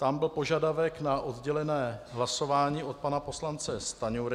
Tam byl požadavek na oddělené hlasování od pana poslance Stanjury.